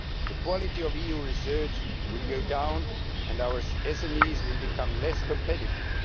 The quality of EU research will go down and our SMEs will become less competitive.